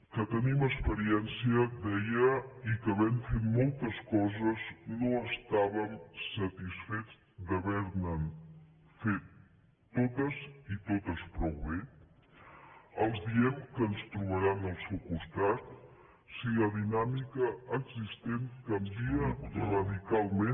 que tenim experiència deia i que havent fet moltes coses no estàvem satisfets d’haver les fet totes i totes prou bé els diem que ens trobaran al seu costat si la di nàmica existent canvia radicalment